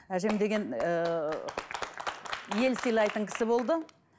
әжем деген ыыы ел сыйлатын кісі болды